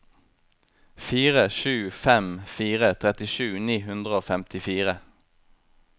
fire sju fem fire trettisju ni hundre og femtifire